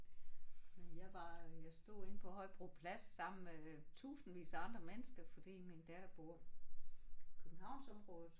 Men jeg var jeg stod inde på Højbro Plads sammen med tusindvis af andre mennesker fordi min datter bor Københavnsområdet